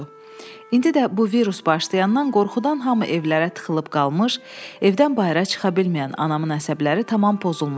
İndi də bu virus başlayandan qorxudan hamı evlərə tıxılıb qalmış, evdən bayıra çıxa bilməyən anamın əsəbləri tamam pozulmuşdu.